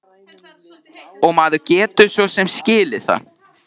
Og maður getur svo sem skilið það.